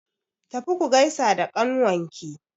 Tafi ku gaisa da ƙnawanki!